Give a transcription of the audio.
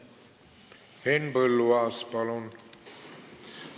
Henn Põlluaas, palun!